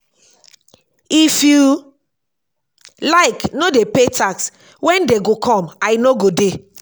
if you like no dey pay tax when dey go come i no go dey